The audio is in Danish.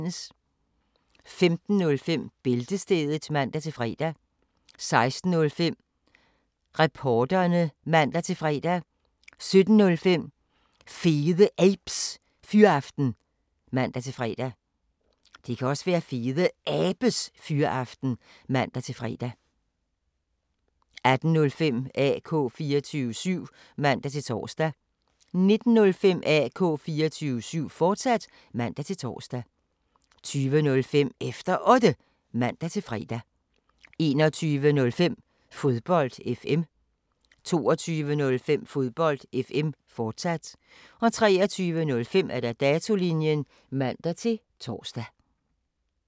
15:05: Bæltestedet (man-fre) 16:05: Reporterne (man-fre) 17:05: Fede Abes Fyraften (man-fre) 18:05: AK 24syv (man-tor) 19:05: AK 24syv, fortsat (man-tor) 20:05: Efter Otte (man-fre) 21:05: Fodbold FM 22:05: Fodbold FM, fortsat 23:05: Datolinjen (man-tor)